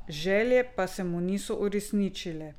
Želje pa se mu niso uresničile.